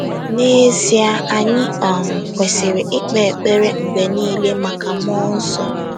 N'ezie, anyị um kwesịrị ikpe ekpere mgbe nile maka mmụọ nsọ